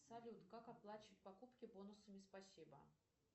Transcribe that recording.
салют как оплачивать покупки бонусами спасибо